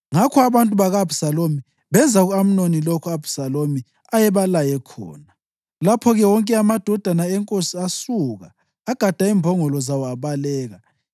Ngakho abantu baka-Abhisalomu benza ku-Amnoni lokho u-Abhisalomu ayebalaye khona. Lapho-ke wonke amadodana enkosi asuka, agada imbongolo zawo abaleka.